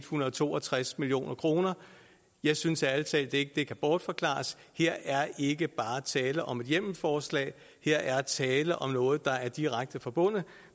hundrede og to og tres million kroner jeg synes ærlig talt ikke at det kan bortforklares her er ikke bare tale om et hjemmelforslag her er tale om noget der er direkte forbundet